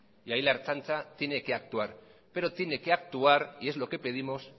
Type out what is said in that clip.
y ahí la ertzaintza tiene que actuar pero tiene que actuar y es lo que pedimos